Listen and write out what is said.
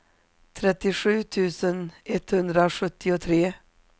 trettiosju tusen etthundrasjuttiotre